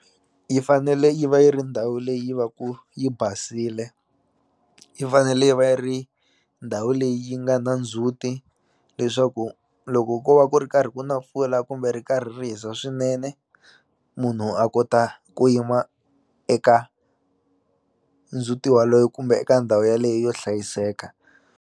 Yi fanele yi va yi ri ndhawu leyi va ku yi basile yi fanele yi va yi ri ndhawu leyi nga na ndzhuti leswaku loko ko va ku ri karhi ku na mpfula kumbe ri karhi ri hisa swinene munhu a kota ku yima eka ndzhuti waloyo kumbe eka ndhawu yaleyo yo hlayiseka.